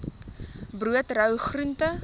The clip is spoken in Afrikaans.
brood rou groente